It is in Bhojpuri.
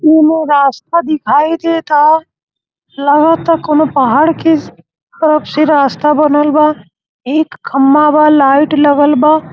एमें रास्ता दिखाई देता। लगता कौनो पहाड़ के तरफ से रास्ता बनल बा। एक खंभा बा लाइट लगल बा।